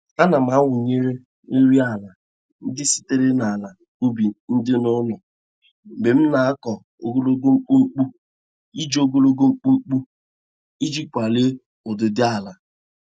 Ana m awụnye nri ala ndị sitere n'ala ubi dị n'ụlọ mgbe m na-akọ ogologo mkpumkpu iji ogologo mkpumkpu iji kwalie ụdịdị ala.